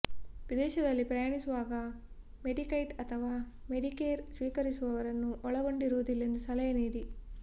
ವಿದೇಶದಲ್ಲಿ ಪ್ರಯಾಣಿಸುವಾಗ ಮೆಡಿಕೈಡ್ ಅಥವಾ ಮೆಡಿಕೇರ್ ಸ್ವೀಕರಿಸುವವರನ್ನು ಒಳಗೊಂಡಿರುವುದಿಲ್ಲ ಎಂದು ಸಲಹೆ ನೀಡಿ